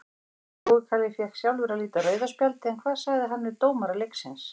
Jói Kalli fékk sjálfur að líta rauða spjaldið en hvað sagði hann við dómara leiksins?